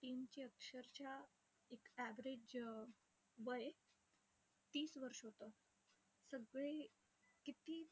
तरच्या एक average वय तीस वर्ष होतं. सगळे किती